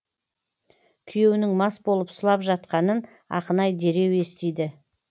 күйеуінің мас болып сұлап жатқанын ақынай дереу естиді